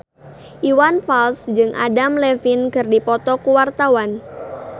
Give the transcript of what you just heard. Iwan Fals jeung Adam Levine keur dipoto ku wartawan